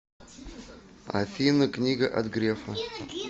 афина книга от грефа